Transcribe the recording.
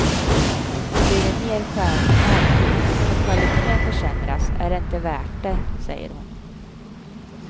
Blir det nedskärningar så kvaliteten försämras är det inte värt det, säger hon.